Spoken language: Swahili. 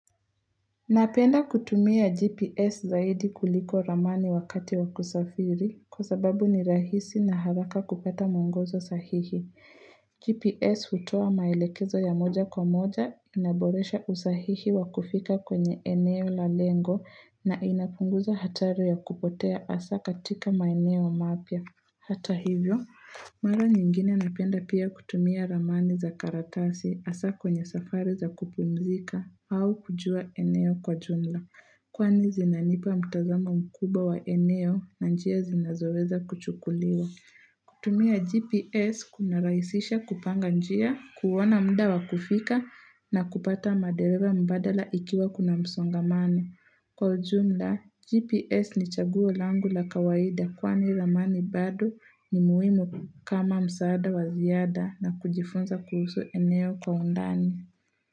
Napenda kutumia GPS zaidi kuliko ramani wakati wakusafiri kwa sababu ni rahisi na haraka kupata mwongozo sahihi. GPS hutoa maelekezo ya moja kwa moja inaboresha usahihi wakufika kwenye eneo la lengo na inapunguza hatari ya kupotea hasa katika maeneo mapya. Hata hivyo, mara nyingine napenda pia kutumia ramani za karatasi hasa kwenye safari za kupumzika au kujua eneo kwa jumla. Kwani zinanipa mtazama mkubwa wa eneo na njia zinazoweza kuchukuliwa. Kutumia GPS kuna raisisha kupanga njia, kuona mda wa kufika na kupata madereva mbadala ikiwa kuna msongamano Kwa ujumla, GPS ni chaguo langu la kawaida kwa ni ramani bado ni muhimu kama msaada waziada na kujifunza kuhusu eneo kwa undani.